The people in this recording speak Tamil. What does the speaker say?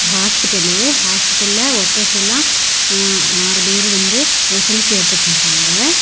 ஹாஸ்பிடலு ஹாஸ்பிடல்ல ஒர்க்கர்ஸ் எல்லாம் அ ஆறு பேர் வந்து ஒரு செல்பி எடுத்து நிக்கிகாங்க.